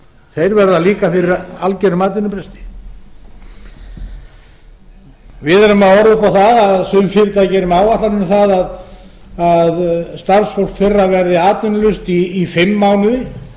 þeir verða líka fyrir algerum atvinnubresti við erum að horfa upp á það að sum fyrirtæki eru með áætlanir um það að starfsfólk þeirra verði atvinnulaust í fimm mánuði